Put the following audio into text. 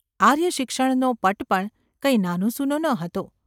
આર્ય શિક્ષણનો પટ પણ કંઈ નાનોસુનો ન હતો.